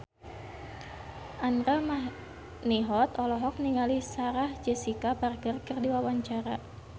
Andra Manihot olohok ningali Sarah Jessica Parker keur diwawancara